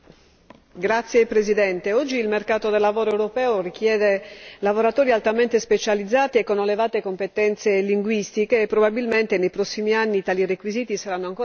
Signora Presidente, oggi il mercato del lavoro europeo richiede lavoratori altamente specializzati e con elevate competenze linguistiche e, probabilmente, nei prossimi anni tali requisiti saranno ancora